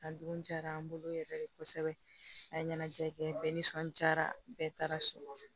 A dun jara an bolo yɛrɛ de kosɛbɛ a ye ɲɛnajɛ kɛ bɛɛ nisɔndiyara bɛɛ taara sɔrɔ